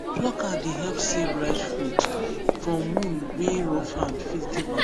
plucker dey help save ripe fruit from wound wey rough hand fit give am